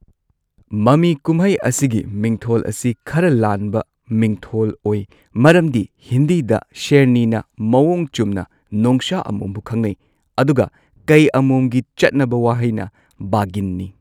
ꯃꯃꯤ ꯀꯨꯝꯍꯩ ꯑꯁꯤꯒꯤ ꯃꯤꯡꯊꯣꯜ ꯑꯁꯤ ꯈꯔ ꯂꯥꯟꯕ ꯃꯤꯡꯊꯣꯜ ꯑꯣꯏ, ꯃꯔꯝꯗꯤ ꯍꯤꯟꯗꯤꯗ ꯁꯦꯔꯅꯤꯅ ꯃꯑꯣꯡ ꯆꯨꯝꯅ ꯅꯣꯡꯁꯥ ꯑꯃꯣꯝꯕꯨ ꯈꯪꯅꯩ, ꯑꯗꯨꯒ ꯀꯩ ꯑꯃꯣꯝꯒꯤ ꯆꯠꯅꯕ ꯋꯥꯍꯩꯅ ꯕꯥꯘꯤꯟꯅꯤ꯫